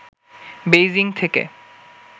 Beijing থেকে